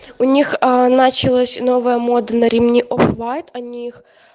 у них началась новая мода на ремни оф вайт они их